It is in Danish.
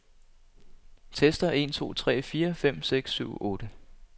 Tester en to tre fire fem seks syv otte.